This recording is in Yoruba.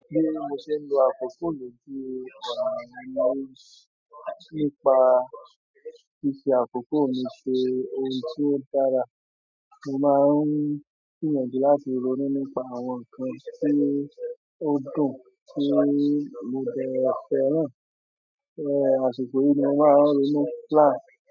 Bí mo ṣe ń lo àkókò mi tí ọ̀nà mí nípa ṣíṣe àkókò mi ṣe ohun tí ó dára. Mo máa ń gbìyànjú láti ronú nípa àwọn nǹkan tí ó dùn tí mo dẹ̀ fẹ́ràn, àṣìkò yìí ni màá ronú last.